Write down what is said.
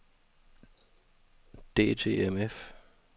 DTMF